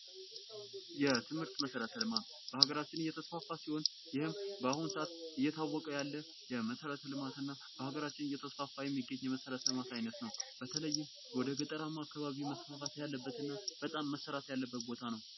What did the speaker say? የትምህርት መሠረተ ልማቱ በሀገራችን እየተስፋፋ ሲሆን ይህም በአሁኑ ሰአት እየታወቀ ያለ መሰረተ ልማትና በሀገራችን እየተስፋፋ የሚገኝ የመሰረተ ልማት አይነት ነው። በተለይ በገጠር አካባቢ መስፋፋት ያለበትና በጣም መሰራት ያለበት ቦታ ነው።